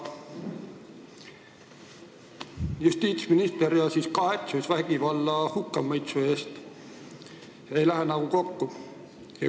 Justiitsminister ja kahetsus vägivalla hukkamõistmise pärast – need asjad ei lähe nagu kokku.